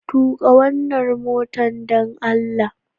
tuƙa wannan motar dan allah